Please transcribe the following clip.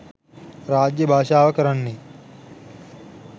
රාජ්‍ය භාෂාව කරන්නේ